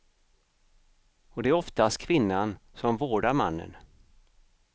Och det är oftast kvinnan som vårdar mannen.